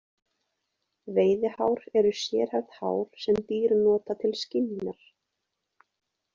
Veiðihár eru sérhæfð hár sem dýr nota til skynjunar.